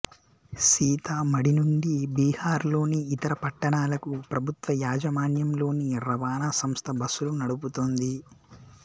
సీతామఢీ నుండి బీహార్ లోని ఇతర పట్టణాలకు ప్రభుత్వ యాజమాన్యంలోని రవాణా సంస్థ బస్సులు నడుపుతోంది